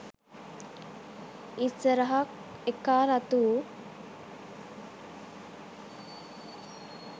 ඉස්සරහ එකා රතු